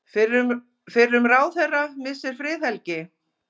Fyrrum ráðherra missir friðhelgi